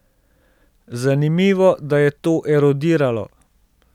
Zanimivo, da je to erodiralo.